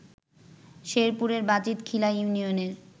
শেরপুরের বাজিত খিলা ইউনিয়নের